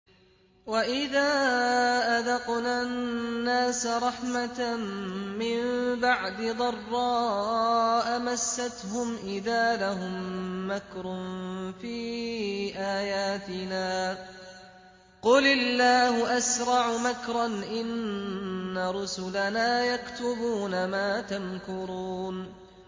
وَإِذَا أَذَقْنَا النَّاسَ رَحْمَةً مِّن بَعْدِ ضَرَّاءَ مَسَّتْهُمْ إِذَا لَهُم مَّكْرٌ فِي آيَاتِنَا ۚ قُلِ اللَّهُ أَسْرَعُ مَكْرًا ۚ إِنَّ رُسُلَنَا يَكْتُبُونَ مَا تَمْكُرُونَ